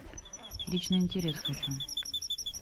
личный интерес хочу